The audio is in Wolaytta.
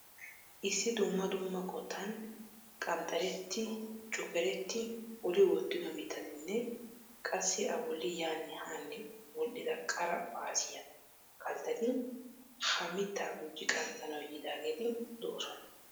Issi dumma dumma qottaan qanxxeretti, cukkeretti, oli wottido mittatinne qassi a bolli yaane haanne wodhdhida qara paasiyaa kalttati ha miittaa gijji qanxxanawu yiidaageetti doosonna.